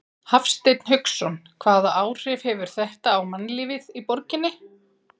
Hafsteinn Hauksson: Hvaða áhrif hefur þetta á mannlífið í borginni?